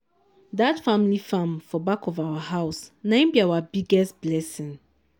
dat family farm for back of our house nai b our biggest blessing.